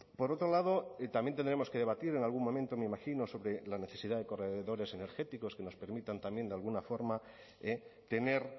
por otro lado también tendremos que debatir en algún momento me imagino sobre la necesidad de corredores energéticos que nos permitan también de alguna forma tener